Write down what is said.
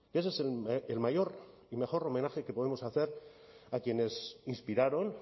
ese es el mayor y mejor homenaje que podemos hacer a quienes inspiraron